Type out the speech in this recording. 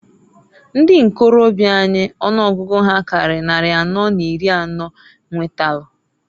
Ndi ikorobia anyị ọnụọgụgụ ha karịrị nnari anọ n'iri anọọ nwetalụ.